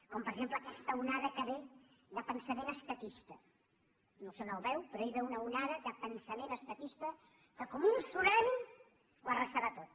com per exemple aquesta onada que ve de pensament estatista no sé on ho veu però ell veu una onada de pensament estatista que com un tsumani ho arrasarà tot